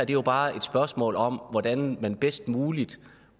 jo bare et spørgsmål om hvordan man bedst muligt